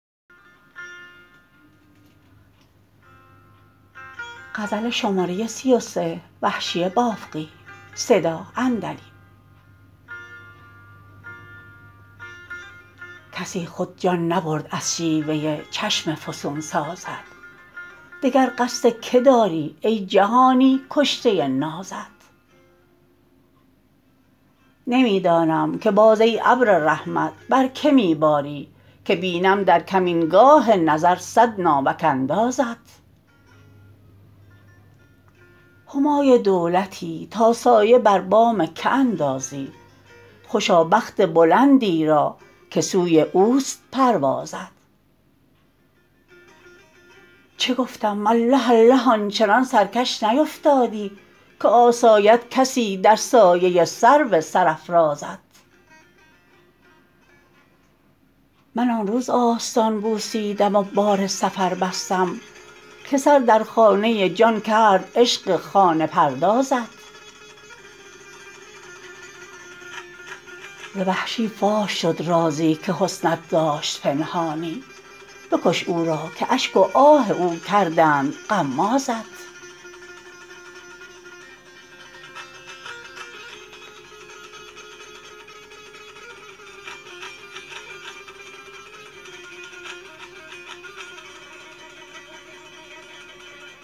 کسی خود جان نبرد از شیوه چشم فسون سازت دگر قصد که داری ای جهانی کشته نازت نمی دانم که باز ای ابر رحمت بر که می باری که بینم در کمین گاه نظر صد ناوک اندازت همای دولتی تا سایه بر بام که اندازی خوشا بخت بلندی را که سوی اوست پروازت چه گفتم اله اله آن چنان سرکش نیفتادی که آساید کسی در سایه سرو سرافرازت من آن روز آستان بوسیدم و بار سفر بستم که سر در خانه جان کرد عشق خانه پردازت ز وحشی فاش شد رازی که حسنت داشت پنهانی بکش او را که اشک و آه او کردند غمازت